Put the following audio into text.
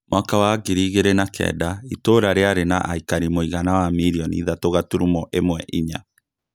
Mwaka wa ngiri igĩrĩ na kenda, itũũra rĩarĩ na aikari mũigana wa mirioni ithatũ gaturumo ĩmwe inya